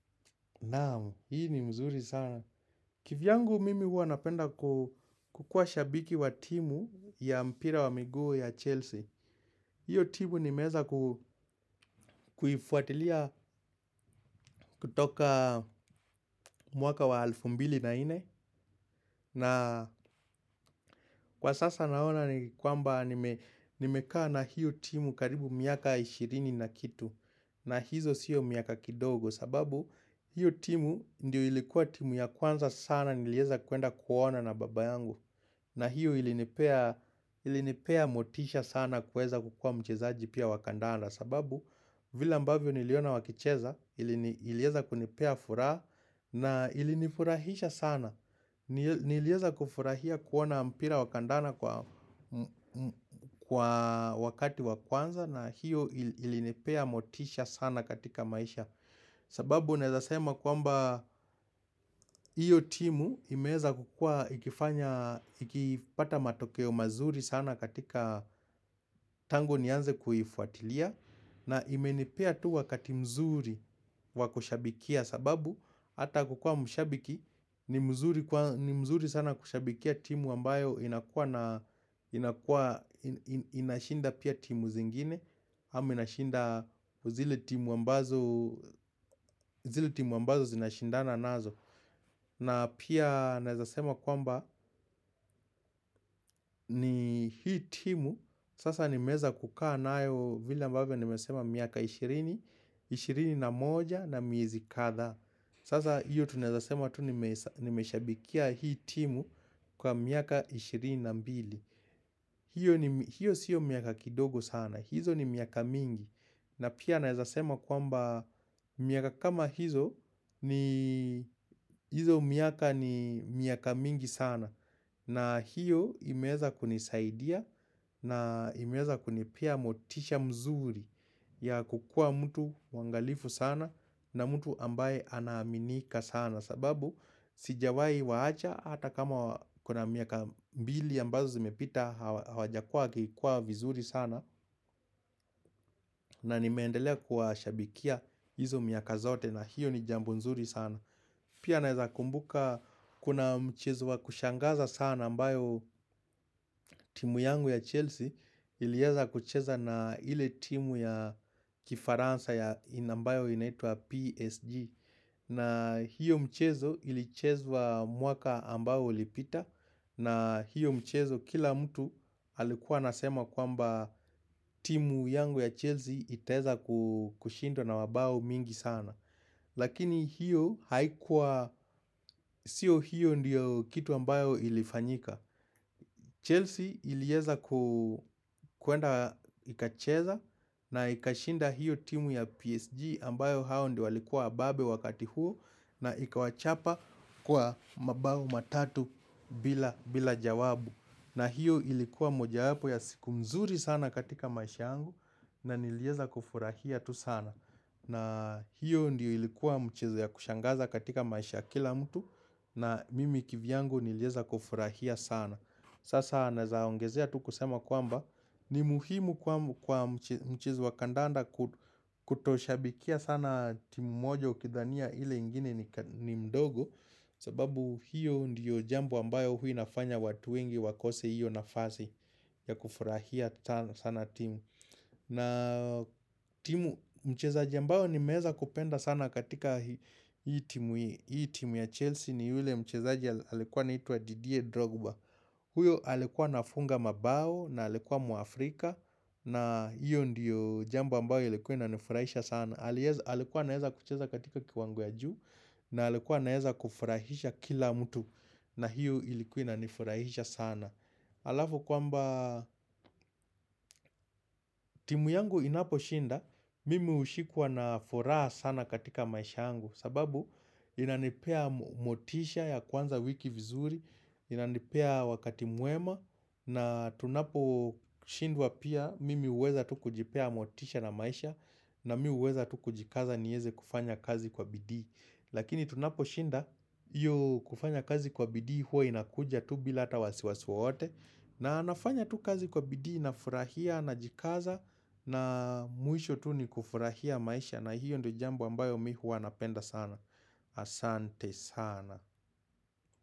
Naam, hii ni mzuri sana. Kivyangu mimi hua napenda kukua shabiki wa timu ya mpira wa miguu ya Chelsea. Hiyo timu nimeeza kuifuatilia kutoka mwaka wa alfu mbili na nne. Na Kwa sasa naona ni kwamba nimekaa na hiyo timu karibu miaka ishirini na kitu. Na hizo sio miaka kidogo, sababu hiyo timu ndio ilikuwa timu ya kwanza sana nilieza kuenda kuona na baba yangu. Na hiyo ilinipea motisha sana kuweza kua mchezaji pia wa kandanda. Sababu vile ambavyo niliona wakicheza ili ilieza kunipea furaha na ilinifurahisha sana. Niliweza kufurahia kuona mpira wakandanda kwa wakati wa kwanza na hiyo ilinipea motisha sana katika maisha. Sababu naeza sema kwamba hiyo timu imeeza kukua ikifanya ikipata matokeo mazuri sana katika tangu nianze kuifwatilia na imenipea tu wakati mzuri wakushabikia sababu, ata kukua mshabiki, ni mzuri sana kushabikia timu ambayo inakua na inakua inashinda pia timu zingine ama inashinda zile timu ambayo zile timu ambazo zinashindana nazo. Na pia naweza sema kwamba, ni hii timu, sasa nimeweza kukaa nayo vila ambavyo nimesema miaka ishirini ishirini na moja na miezi kadhaa Sasa hiyo tunazasema tu nimeshabikia hii timu kwa miaka 22. Hio sio miaka kidogo sana, hizo ni miaka mingi. Na pia naweza sema kwamba miaka kama hizo ni hizo miaka ni miaka mingi sana na hiyo imeweza kunisaidia na imeza kunipea motisha mzuri ya kukua mtu mwangalifu sana na mtu ambaye anaaminika sana. Sababu sijawahi waacha hata kama kuna miaka mbili ambazo zimepita hawajakua wakikua vizuri sana na nimeendelea kuwashabikia hizo miaka zote na hiyo ni jambo nzuri sana Pia naweza kumbuka kuna mchezo wa kushangaza sana ambayo timu yangu ya Chelsea Ilieza kucheza na ile timu ya kifaransa ya ambayo inaitwa PSG. Na hiyo mchezo ilicheza wa mwaka ambao ulipita na hiyo mchezo kila mtu alikuwa anasema kwamba timu yangu ya Chelsea itaweza kushinda na wabao mingi sana Lakini hiyo haikuwa Sio hiyo ndiyo kitu ambayo ilifanyika. Chelsea iliweza kuu kwenda ikacheza na ikashinda hiyo timu ya PSG ambayo hao ndio walikuwa wababe wakati huo na ikawachapa kwa mabao matatu bila jawabu. Na hiyo ilikuwa mojawapo ya siku mzuri sana katika maisha yangu na niliweza kufurahia tu sana. Na hiyo ndiyo ilikuwa mchezo ya kushangaza katika maisha ya kila mtu na mimi kivyangu niliweza kufurahia sana. Sasa naweza ongezea tu kusema kwamba ni muhimu kwa mchezo wa kandanda kutoshabikia sana timu moja ukidhania ile ingine ni mdogo sababu hiyo ndiyo jambo ambayo hua nafanya watu wengi wakose hiyo nafasi ya kufurahia sana timu. Na timu mchezaji ambayo nimeweza kupenda sana katika hii timu ya Chelsea ni yule mchezaji alikuwa anaitwa Didier Drogba huyo alikuwa anafunga mabao na alikuwa Mwafrika na hiyo ndiyo jambo ambayo ilikuwa inanifurahisha sana. Alikuwa anaweza kucheza katika kiwango ya juu na alikuwa anaweza kufurahisha kila mtu na hiyo ilikuwa inanifurahisha sana Alafu kwamba timu yangu inaposhinda Mimi hushikuwa na furaha sana katika maisha yangu sababu inanipea motisha ya kuanza wiki vizuri, inanipea wakati mwema na tunapo shindwa pia mimi huweza tu kujipea motisha na maisha na mi huweza tu kujikaza niweze kufanya kazi kwa bidii Lakini tunapo shinda hiyo kufanya kazi kwa bidii hua inakuja tu bila ata wasiwasi wowote na nafanya tu kazi kwa bidii nafurahia najikaza na mwisho tu ni kufurahia maisha na hiyo ndiyo jambo ambayo mi huwa napenda sana. Asante sana.